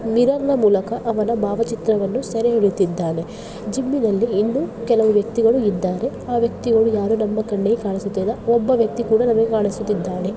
Mirror ನ ಮೂಲಕ ಅವನ ಭಾವಚಿತ್ರವನ್ನು ಸೆರೆಹಿಡುತ್ತಿದ್ದಾನೆ. ಜಿಮ್ಮಿ ನಲ್ಲಿ ಇನ್ನೂ ಕೆಲವು ವ್ಯಕ್ತಿಗಳು ಇದ್ದಾರೆ ಆ ವ್ಯಕ್ತಿಗಳು ಯಾರು ನಮ್ಮ ಕಣ್ಣಿಗೆ ಕಾಣಿಸ್ತಾ ಇಲ್ಲ. ಒಬ್ಬ ವ್ಯಕ್ತಿ ಕೂಡ ಕಾಣಿಸ್ತಾ ಇದ್ದಾನೆ.